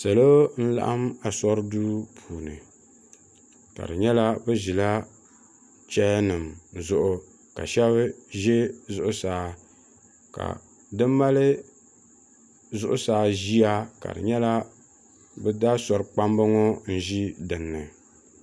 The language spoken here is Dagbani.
salo n-laɣim ashuri duu puuni ka do nyɛla bɛ ʒila cheeyanima zuɣu ka, shɛba ʒi zuɣusaa ka di mali zuɣusaa ʒiya ka nyɛla bɛ daa ashuri kpamba ŋɔ n-ʒi din ni.